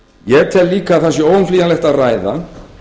ég tel líka að það sé óumflýjanlegt að ræða